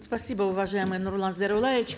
спасибо уважаемый нурлан зайроллаевич